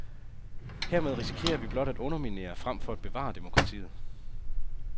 Hermed risikerer vi blot at underminere, frem for at bevare demokratiet.